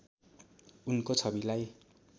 उनको छविलाई